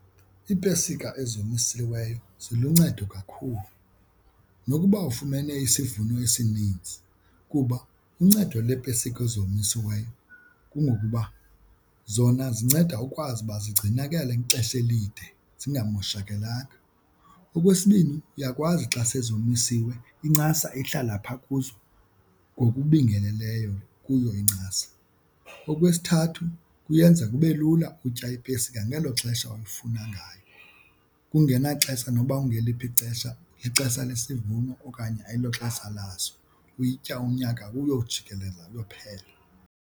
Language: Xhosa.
Iipesika ezomisiweyo ziluncedo kakhulu nokuba ufumene isivuno esininzi kuba uncedo lweepesika ezomisiweyo kungokuba zona zinceda ukwazi uba zigcinakale ixesha elide zingamoshakelanga. Okwesibini uyakwazi xa sezomisiwe incasa ihlala phaa kuzo ngokubingeleleyo kuyo incasa. Okwesithathu kuyenza kube lula utya iipesika nangelo xesha olifuna ngayo kungenaxesha nokuba kungeliphi ixesha, lixesha lesivuno okanye ayiloxesha laso uyitya unyaka uyojikelela uyophela.